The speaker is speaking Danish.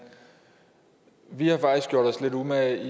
vi har faktisk gjort os lidt umage